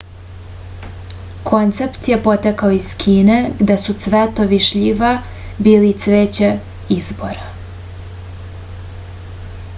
koncept je potekao iz kine gde su cvetovi šljive bili cveće izbora